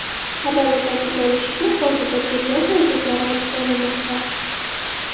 Xabarda ta’kidlanishicha, hozirda tergov harakatlari olib borilmoqda.